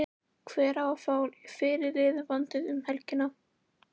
Hver á að fá fyrirliðabandið um helgina?